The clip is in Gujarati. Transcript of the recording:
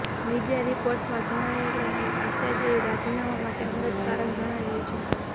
મીડિયા રિપોર્ટ્સમાં જણાવ્યા પ્રમાણે આચાર્યએ રાજીનામા માટે અંગત કારણ જણાવ્યું છે